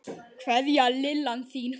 Kveðja, Lillan þín.